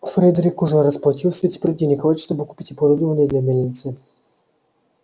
фредерик уже расплатился и теперь денег хватит чтобы купить оборудование для мельницы